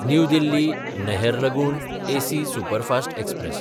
new दिल्ली–नहरलगून AC superfast express